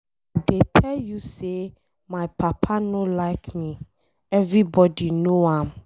I dey tell you say my papa no like me, everybody no am.